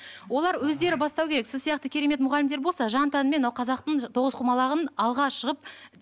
олар өздері бастау керек сіз сияқты керемет мұғалімдер болса жан тәнімен мынау қазақтың тоғызқұмалағын алға шығып